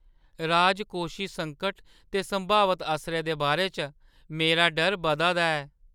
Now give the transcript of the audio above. राजकोशी संकट दे संभावत असरै दे बारे च मेरा डर बधा दा ऐ।